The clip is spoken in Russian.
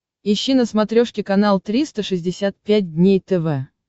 ищи на смотрешке канал триста шестьдесят пять дней тв